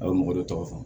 A ye mɔgɔ dɔ tɔgɔ fɔ